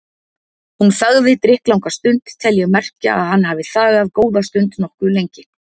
Hann þagði drykklanga stund tel ég merkja að hann hafi þagað góða stund, nokkuð lengi.